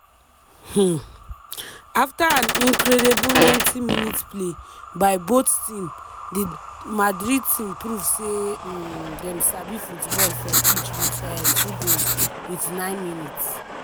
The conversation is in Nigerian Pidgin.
um afta an incredible 90minutes play by both team di madrid team prove say um dem sabi football for pitch wit um two goals within 9minutes.